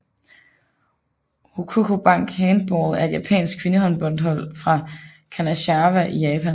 Hokkoku Bank Handball er et japansk kvindehåndboldhold fra Kanazawa i Japan